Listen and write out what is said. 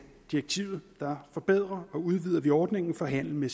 direktivet forbedrer og udvider vi ordningen for handel med